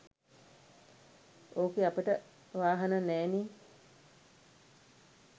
ඕකේ අපට වාහන නෑ නේ